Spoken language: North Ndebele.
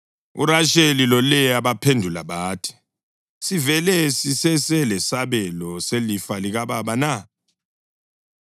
URasheli loLeya baphendula bathi, “Sivele siseselesabelo selifa likababa na?